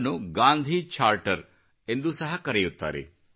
ಇದನ್ನು Gandhi charter Gandhi charter ಎಂದೂ ಸಹ ಕರೆಯುತ್ತಾರೆ